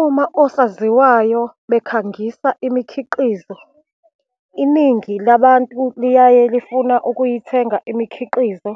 Uma osaziwayo bekhangisa imikhiqizo, iningi labantu liyaye lifuna ukuyithenga imikhiqizo,